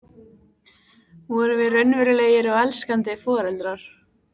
Vorum við raunverulegir og elskandi foreldrar?